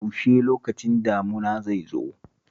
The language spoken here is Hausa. Yaushe lokacin damuna zai zo?